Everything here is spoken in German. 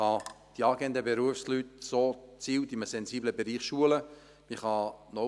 So können die angehenden Berufsleute in einem sensiblen Bereich gezielt geschult werden.